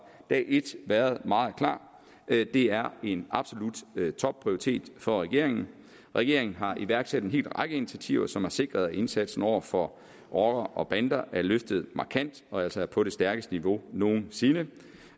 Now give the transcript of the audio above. dag et været meget klar det er en absolut topprioritet for regeringen regeringen har iværksat en hel række initiativer som har sikret at indsatsen over for rockere og bander er løftet markant og altså er på det stærkeste niveau nogen sinde